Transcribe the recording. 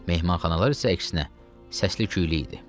Mehmanxanalar isə əksinə, səsli küylü idi.